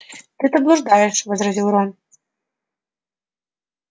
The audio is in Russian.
ты-то блуждаешь возразил рон